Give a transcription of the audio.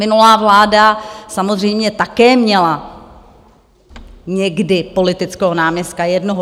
Minulá vláda samozřejmě také měla někdy politického náměstka, jednoho.